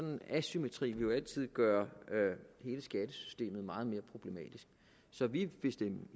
en asymmetri vil jo altid gøre hele skattesystemet meget mere problematisk så vi vil stemme